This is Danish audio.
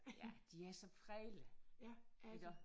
Ja de er så fredelige iggå